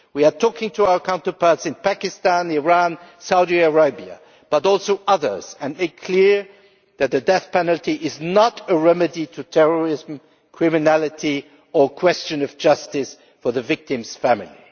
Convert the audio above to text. We are talking to our counterparts in Pakistan, Iran, Saudi Arabia and also other countries, and we make it clear that the death penalty is not a remedy to terrorism or criminality, or a question of justice for the victim's family.